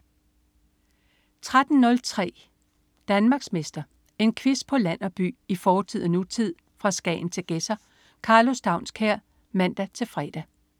13.03 Danmarksmester. En quiz på land og by, i fortid og nutid, fra Skagen til Gedser. Karlo Staunskær (man-fre)